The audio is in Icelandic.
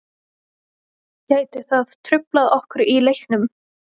Gæti það truflað okkur í leiknum?